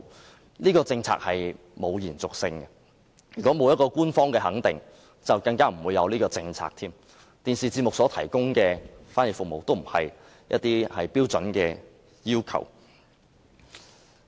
由於這項政策並沒有延續性，如果沒有官方肯定，更不會有此政策，而電視節目所提供的翻譯服務亦不是標準的要求。